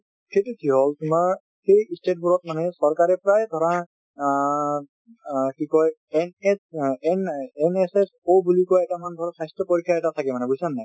সেইটো কিয় হল তোমাৰ সেই state বোৰত মানে চৰকাৰে প্ৰায় ধৰা অ অ কি কয় ns অ n NSSOInitial বুলি কয় স্বাস্থ্য পৰীক্ষা এটা থাকে বুজিছা নে নাই।